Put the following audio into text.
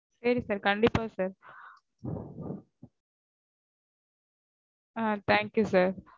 சரி sir கண்டிப்பா sir ஆ thank you sir